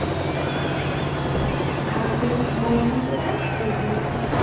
ভারতের বর্ণ প্রথা প্রচলিত